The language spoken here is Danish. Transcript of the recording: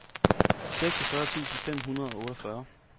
seksogfyrre tusind fem hundrede og otteogfyrre